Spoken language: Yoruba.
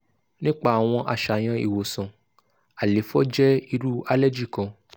nipa awọn aṣayan iwosan - àléfọ jẹ iru aleji kan